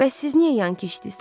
Bəs siz niyə yan keçdiniz?